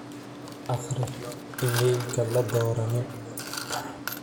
aqri iimaylka la doranin